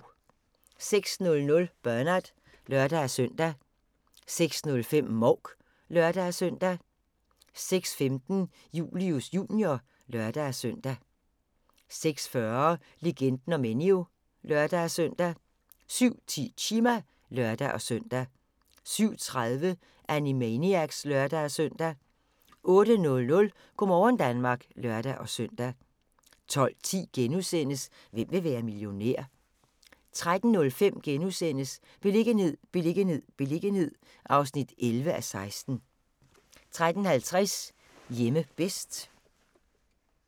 06:00: Bernard (lør-søn) 06:05: Mouk (lør-søn) 06:15: Julius Jr. (lør-søn) 06:40: Legenden om Enyo (lør-søn) 07:10: Chima (lør-søn) 07:30: Animaniacs (lør-søn) 08:00: Go' morgen Danmark (lør-søn) 12:10: Hvem vil være millionær? * 13:05: Beliggenhed, beliggenhed, beliggenhed (11:16)* 13:50: Hjemme bedst